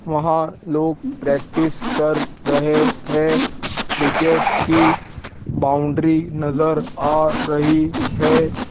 वहां लोग प्रैक्टिस कर रहे हैं क्रिकेट की बाउंड्री नजर आ रही है।